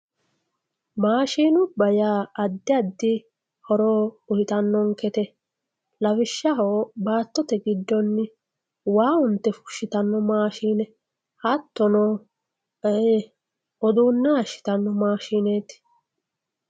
maashinubba yaa addiaddi horo uyiitanonkete lawishshaho baattote giddonni waa unte fushshitanno maashine hattono uduunne haayiishshitanno maashineeti.